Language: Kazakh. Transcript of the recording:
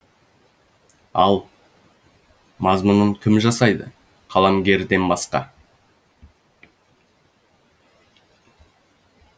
ал мазмұнын кім жасайды қаламгерден басқа